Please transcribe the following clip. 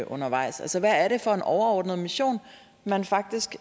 undervejs altså hvad er det for en overordnet mission man faktisk